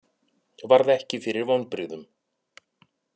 Varð ekki fyrir vonbrigðum